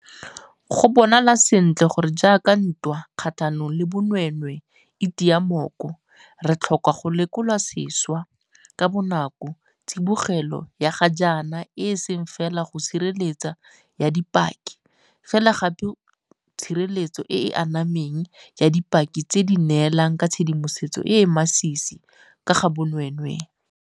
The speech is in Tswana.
Go bonala sentle gore jaaka ntwa kgatlhanong le bonweenwee e tia mooko, re tlhoka go lekola sešwa ka bonako tsibogelo ya ga jaana e seng fela go tshireletso ya dipaki, fela gape go tshireletso e e anameng ya dipaki tse di neelang ka tshedimosetso e e masisi ka ga bonweenwee.